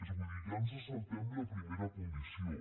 vull dir ja ens saltem la primera condició